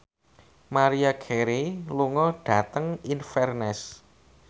Maria Carey lunga dhateng Inverness